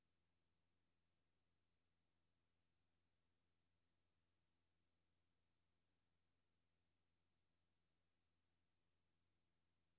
E K S P O R T C H A U F F Ø R E R S